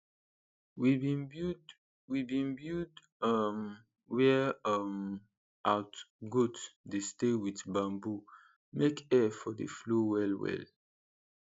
we bin build we bin build um where um out goat dey stay wit bamboo make air for dey flow well well